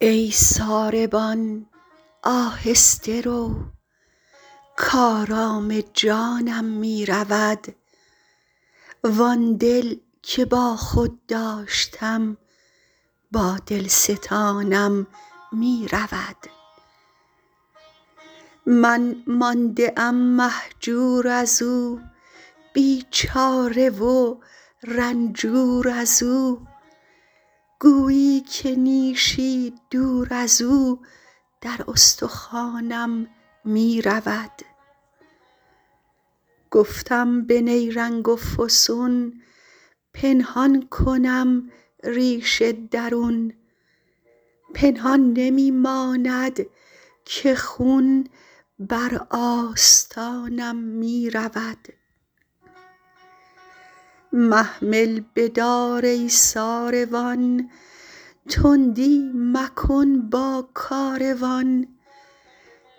ای ساربان آهسته رو کآرام جانم می رود وآن دل که با خود داشتم با دل ستانم می رود من مانده ام مهجور از او بیچاره و رنجور از او گویی که نیشی دور از او در استخوانم می رود گفتم به نیرنگ و فسون پنهان کنم ریش درون پنهان نمی ماند که خون بر آستانم می رود محمل بدار ای ساروان تندی مکن با کاروان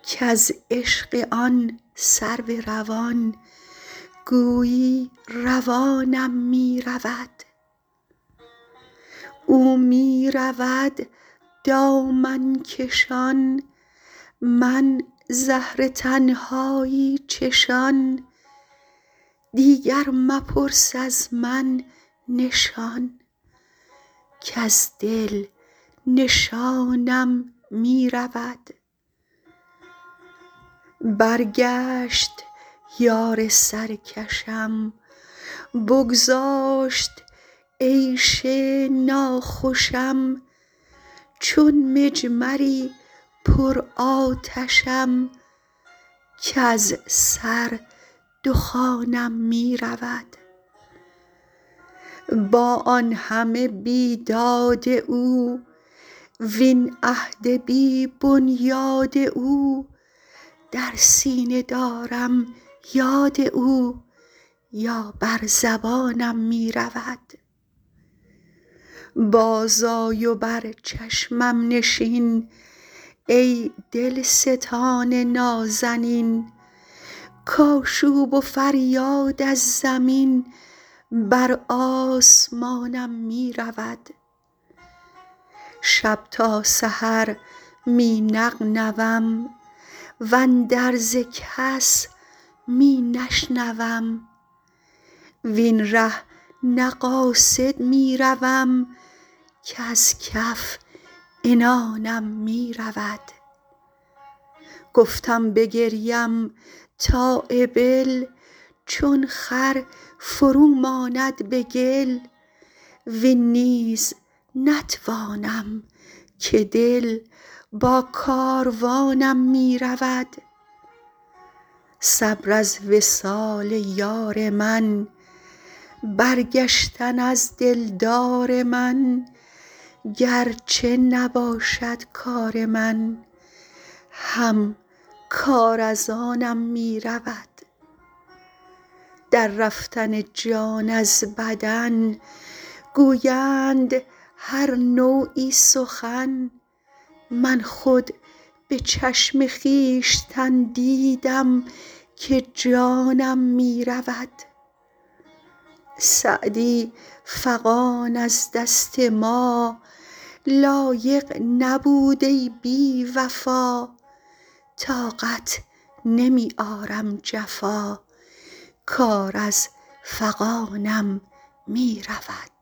کز عشق آن سرو روان گویی روانم می رود او می رود دامن کشان من زهر تنهایی چشان دیگر مپرس از من نشان کز دل نشانم می رود برگشت یار سرکشم بگذاشت عیش ناخوشم چون مجمری پرآتشم کز سر دخانم می رود با آن همه بیداد او وین عهد بی بنیاد او در سینه دارم یاد او یا بر زبانم می رود بازآی و بر چشمم نشین ای دلستان نازنین کآشوب و فریاد از زمین بر آسمانم می رود شب تا سحر می نغنوم واندرز کس می نشنوم وین ره نه قاصد می روم کز کف عنانم می رود گفتم بگریم تا ابل چون خر فرو ماند به گل وین نیز نتوانم که دل با کاروانم می رود صبر از وصال یار من برگشتن از دلدار من گر چه نباشد کار من هم کار از آنم می رود در رفتن جان از بدن گویند هر نوعی سخن من خود به چشم خویشتن دیدم که جانم می رود سعدی فغان از دست ما, لایق نبود ای بی وفا طاقت نمی آرم جفا کار از فغانم می رود